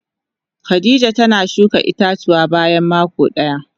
Khadijah tana shuka ita-tuwa bayan mako daya.